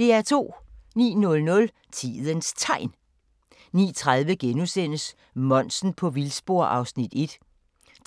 09:00: Tidens Tegn 09:30: Monsen på vildspor (Afs. 1)*